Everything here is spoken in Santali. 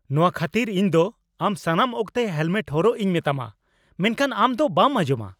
ᱱᱚᱶᱟ ᱠᱷᱟᱹᱛᱤᱨ ᱤᱧ ᱫᱚ ᱟᱢ ᱥᱟᱱᱟᱢ ᱚᱠᱛᱮ ᱦᱮᱞᱢᱮᱴ ᱦᱚᱨᱚᱜ ᱤᱧ ᱢᱮᱛᱟᱢᱟ, ᱢᱮᱱᱠᱷᱟᱱ ᱟᱢ ᱫᱚ ᱵᱟᱢ ᱟᱸᱡᱚᱢᱼᱟ ᱾